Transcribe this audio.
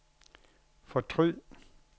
fortryd